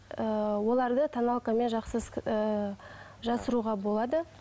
ыыы оларды тоналкамен жақсы ы жасыруға болады